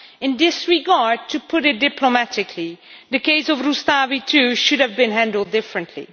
In this regard, to put it diplomatically, the case of Rustavi 2 should have been handled differently.